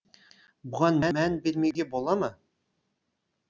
бұған мән бермеуге бола ма